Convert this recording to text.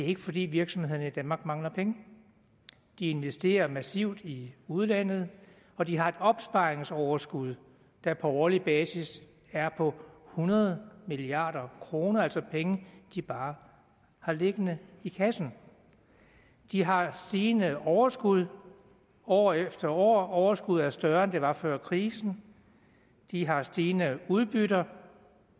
ikke fordi virksomhederne i danmark mangler penge de investerer massivt i udlandet og de har et opsparingsoverskud der på årlig basis er på hundrede milliard kr altså penge de bare har liggende i kassen de har stigende overskud år efter år og overskuddet er større end det var før krisen de har stigende udbytter